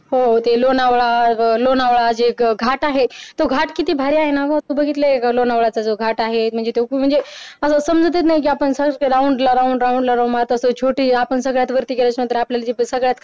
तो लोणावळा हे घाट आहे तो घाट किती भारी आहे ना वस्तू घेतल्या लोणावळा घाट आहे म्हणजे तुम्ही म्हणजे आता समजा तुम्ही आपण कसे round round मात्र छोटी आपण सगळ्यांनी आपल्या सगळ्यात